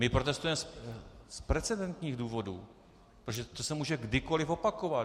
My protestujeme z precedentních důvodů, protože to se může kdykoli opakovat.